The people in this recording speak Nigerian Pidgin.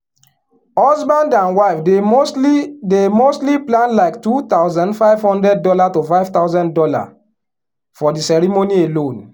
husband and wife dey mostly dey mostly plan like two thousand five hundred dollar to five thousand dollar for the ceremony alone.